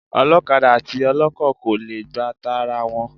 Ọlọ́kadà àti ọlọ́kọ̀ kò le gba tara wọn.